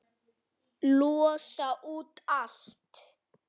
Losa út allt.